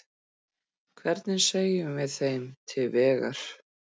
Hvernig segjum við þeim til vegar?